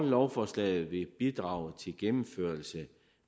lovforslaget vil bidrage til gennemførelse